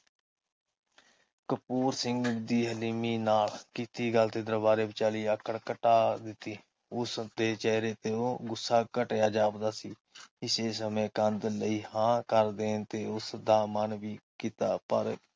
ਕਪੂਰ ਸਿੰਘ ਦੀ ਹਲੀਮੀ ਨਾਲ ਕੀਤੀ ਗੱਲ ਤੇ ਦਰਬਾਰੇ ਵਿਚਾਲੀ ਆਕੜ ਕਟਾ ਦਿੱਤੀ। ਉਸਦੇ ਚੇਹਰੇ ਤੇ ਉਹ ਗੁੱਸਾ ਕਟਿਆ ਜਾਪਦਾ ਸੀ। ਇਸੇ ਸਮੇ ਕੰਧ ਲਈ ਹਾਂ ਕਰ ਦੇਣ ਤੇ ਉਸਦਾ ਮਨ ਵੀ